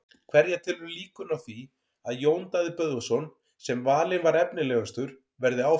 Hverja telurðu líkurnar á því að Jón Daði Böðvarsson sem valinn var efnilegastur verði áfram?